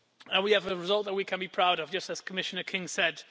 We have a result that we can be proud of, as Commissioner King said.